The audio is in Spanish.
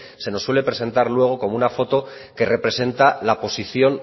se nos suele presentar luego como una foto que representa la posición